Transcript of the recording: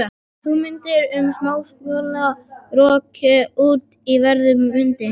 Hugmyndin um smásöguna var rokin út í veður og vind.